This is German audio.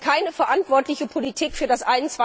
Das ist keine verantwortliche Politik für das